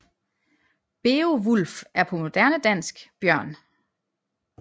Beovulf er på moderne dansk Bjørn